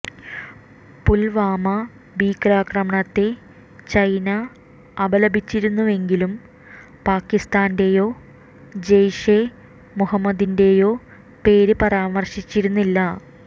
പുൽവാമ ഭീകരാക്രമണത്തെ ചൈന അപലപിച്ചിരുന്നുവെങ്കിലും പാകിസ്താന്റെയോ ജെയ്ഷെ മുഹമ്മദിന്റെയോ പേര് പരാമർശിച്ചിരുന്നില്ല